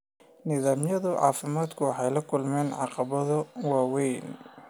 Nidaamyada caafimaadku waxay la kulmeen caqabado waaweyn.